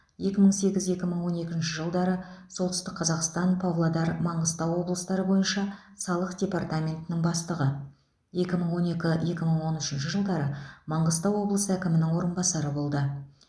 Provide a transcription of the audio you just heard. екі мың сегіз екі мың он екінші жылдары солтүстік қазақстан павлодар маңғыстау облыстары бойынша салық департаментінің бастығы екі мың он екі екі мың он үшінші жылдары маңғыстау облысы әкімінің орынбасары болды